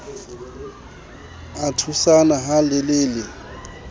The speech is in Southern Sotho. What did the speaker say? a thusana ha le le